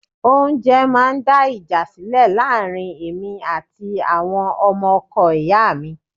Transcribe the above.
Oúnjẹ máa ń dá ìjà sílẹ̀ láàrin èmi àti àwọn ọmọ ọkọ ìyá mi